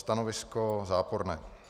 Stanovisko záporné.